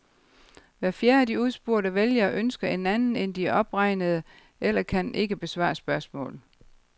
Hver fjerde af de udspurgte vælgere ønsker en anden end de opregnede eller kan ikke besvare spørgsmålet.